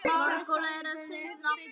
Hefurðu ekkert heyrt frá honum?